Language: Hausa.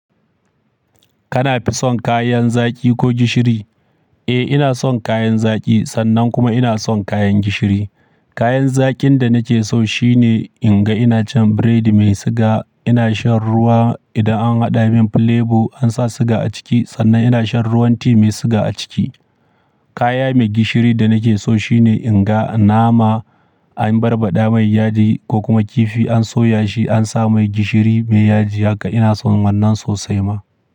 Kana fison kayan zaki ko gishiri? Eh ina son kayan zaki sannan kuma ina son kayan gishiri. Kayan zakin da nake so shine in ga ina cin biredi mai siga, ina shan ruwa idan an haɗa min plebo an sa siga a ciki sannan ina shan ruwan ti mai siga a ciki. Kaya mai gishiri da nake so shine in ga nama an barbaɗa mai yaji ko kuma kifi an soya shi an sa mai gishiri mai yaji haka ina son wannan sosai ma.